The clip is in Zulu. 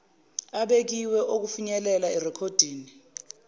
abekiwe okufinyelela erekhoddini